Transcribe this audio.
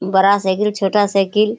बड़ा साइकिल छोटा साइकिल ।